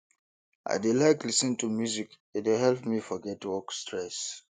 i dey like lis ten to music e dey help me forget work stress